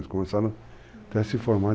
Eles começaram até se formar.